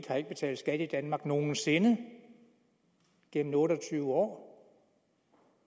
har ikke betalt skat i danmark nogen sinde gennem otte og tyve år og